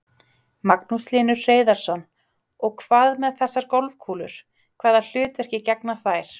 Magnús Hlynur Hreiðarsson: Og hvað með þessar golfkúlur, hvaða hlutverki gegna þær?